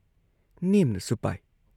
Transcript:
ꯅꯦꯝꯅꯁꯨ ꯄꯥꯏ ꯫